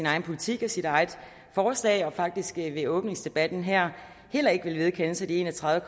egen politik og sit eget forslag og faktisk ved åbningsdebatten her heller ikke ville vedkende sig de en og tredive